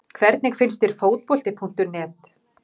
Hvernig finnst þér Fótbolti.net?